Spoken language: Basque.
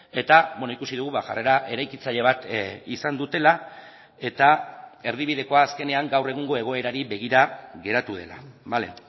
eta ikusi dugu ba jarrera eraikitzaile bat izan dutela eta erdibidekoa azkenean gaur egungo egoerari begira geratu dela bale